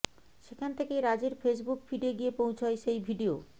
সেখান থেকেই রাজের ফেসবুক ফিডে গিয়ে পৌঁছয় সেই ভিডিও